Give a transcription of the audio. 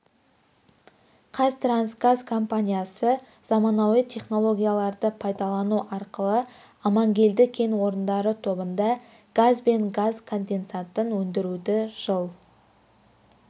қазтрансгаз компаниясы заманауи технологияларды пайдалану арқылы амангелді кен орындары тобында газ бен газ конденсатын өндіруді жыл